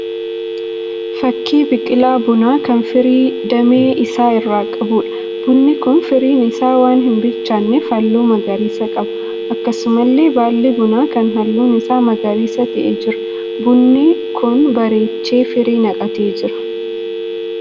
Fakkii biqilaa bunaa kan firii damee isaa irra qabuudha. Bunni kun firiin isaa waan hin bilchaanneef halluu magariisa qaba. Akkasumallee baalli buna kanaa halluun isaa magariisa ta'ee jira. Bunni kun bareechee firii naqatee jira.